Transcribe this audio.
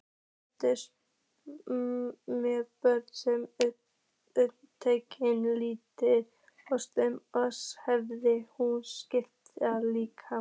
Þótti mönnum sem uppnefnið líkkistur flotans hefði nú sannast illilega.